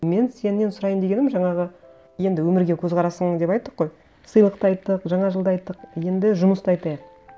мен сенен сұрайын дегенім жаңағы енді өмірге көзқарасың деп айттық қой сыйлықты айттық жаңа жылды айттық енді жұмысты айтайық